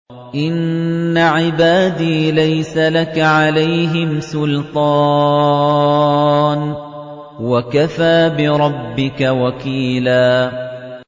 إِنَّ عِبَادِي لَيْسَ لَكَ عَلَيْهِمْ سُلْطَانٌ ۚ وَكَفَىٰ بِرَبِّكَ وَكِيلًا